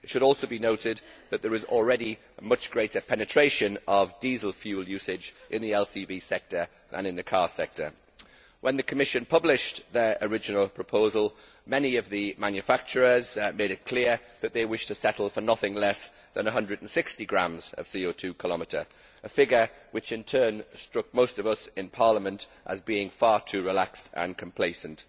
It should also be noted that there is already much greater penetration of diesel fuel usage in the LCV sector than in the car sector. When the Commission published its original proposal, many of the manufacturers made it clear that they wished to settle for nothing less than 160g CO 2 km, a figure which, in turn, struck most of us in Parliament as being far too relaxed and complacent.